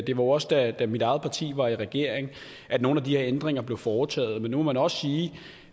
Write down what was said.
jo også da mit eget parti var i regering at nogle af de her ændringer blev foretaget men nu må man også sige